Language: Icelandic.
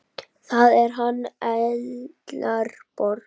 Það er hann Ellert Borgar.